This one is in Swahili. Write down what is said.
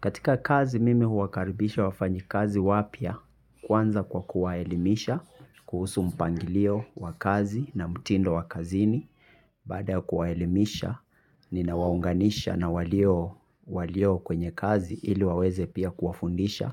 Katika kazi mimi huwakaribisha wafanyi kazi wapya kwanza kwa kuwaelimisha, kuhusu mpangilio wa kazi na mtindo wa kazini. Bada ya kuwaelimisha, ninawaunganisha na walio kwenye kazi ili waweze pia kuwafundisha